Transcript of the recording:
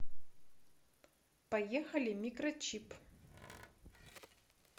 поехали микрочип